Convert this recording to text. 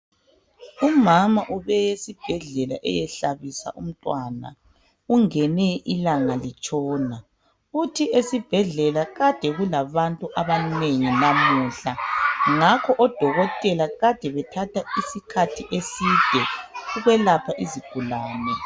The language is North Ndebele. Umama ubeye esibhedlela eyehlabisa umntwana, ungene ilanga litshona. Uthi bekulabantu abanengi esibhedlela namuhla, ngakho odokotela bebethatha isikhathi eside ukwelapha izigulani.